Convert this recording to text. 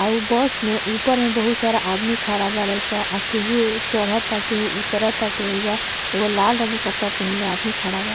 आ उ बस में ऊपर में बहुत सारा आदमी खड़ा बाड़े स आ केहू ए चढ़ता ता केहू उतरताटे ऐजा एगो लाल रंग के कपड़ा पहिनले आदमी खड़ा बा।